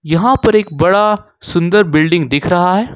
यहां पर एक बड़ा सुंदर बिल्डिंग दिख रहा है।